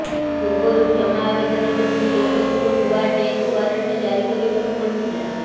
ପୂର୍ବରୁ କ୍ଷମା ଆବେଦନ ଯୋଗୁଁ କୋର୍ଟଙ୍କୁ ନୂଆ ଡେତ୍ ଓ୍ୱାରେଣ୍ଟ ଜାରି କରିବାକୁ ପଡ଼ିଥିଲା